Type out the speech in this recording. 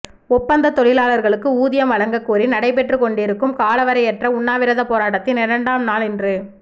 ஒப்பந்த தொழிலாளர்களுக்கு ஊதியம் வழங்க கோரி நடைபெற்றுக் கொன்ண்டிருக்கும் காலவரையற்ற உண்ணாவிரத போராட்டத்தின் இரண்டாம் நாள் இன்று